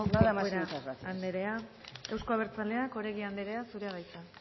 corcuera anderea euzko abertzaleak oregi anderea zurea da hitza